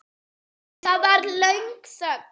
Það varð löng þögn.